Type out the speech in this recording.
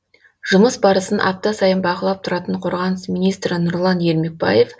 жұмыс барысын апта сайын бақылап тұратын қорғаныс министрі нұрлан ермекбаев